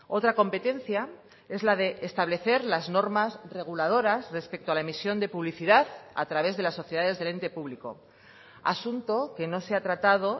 otra competencia es la de establecer las normas reguladoras respecto a la emisión de publicidad a través de las sociedades del ente público asunto que no se ha tratado